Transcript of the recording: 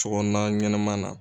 Sokɔnɔna ɲanama na.